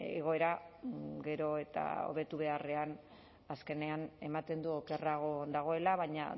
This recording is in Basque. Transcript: egoera gero eta hobetu beharrean azkenean ematen du okerrago dagoela baina